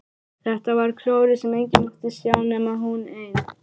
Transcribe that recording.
Þetta var klórið sem enginn mátti sjá nema hún ein!